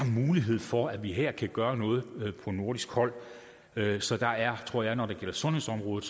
mulighed for at vi her kan gøre noget fra nordisk hold så der er tror jeg når det gælder sundhedsområdet